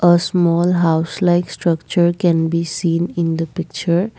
a small house like structure can be seen in the picture.